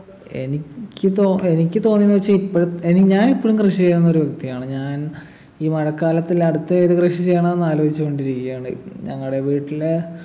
എനിക്ക് തോ എനിക്ക് തോന്നിയെന്ന് വെച്ചാ ഇപ്പോഴും ഏർ ഞാനിപ്പോഴും കൃഷി ചെയ്യുന്നൊരു വ്യക്തിയാണ് ഞാൻ ഈ മഴക്കാലത്തിൽ അടുത്ത ഏത് കൃഷി ചെയ്യണോന്നാലോചിച്ചു കൊണ്ടിരിക്കയാണ് ഞങ്ങടെ വീട്ടിലെ